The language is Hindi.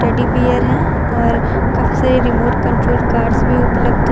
टेडी बीयर हैं और काफी सारी रिमोट कंट्रोल कार्स भी उपलब्ध हैं।